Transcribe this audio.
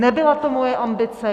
Nebyla to moje ambice.